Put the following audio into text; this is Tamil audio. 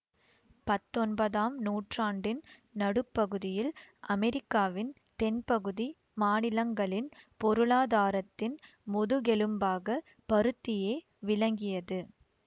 பத்தொன்பதாம் நூற்றாண்டின் நடுப்பகுதியில் அமெரிக்காவின் தென்பகுதி மாநிலங்களின் பொருளாதாரத்தின் முதுகெலும்பாகப் பருத்தியே விளங்கியது